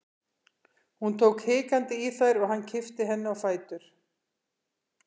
Hún tók hikandi í þær og hann kippti henni á fætur.